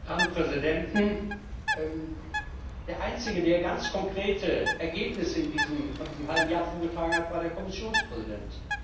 Meine Herren Präsidenten! Der einzige, der ganz konkrete Ergebnisse von diesem halben Jahr vorgetragen hat, war der Kommissionspräsident.